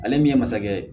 Ale min ye masakɛ ye